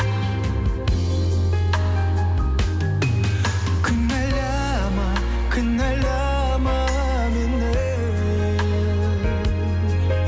кінәлама кінәлама мені